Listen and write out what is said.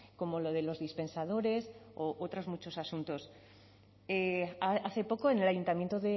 como lo de los dispensadores u otros muchos asuntos hace poco en el ayuntamiento